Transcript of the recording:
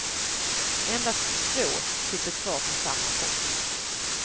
Endast två sitter kvar på samma post.